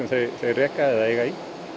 þeir reka eða eiga í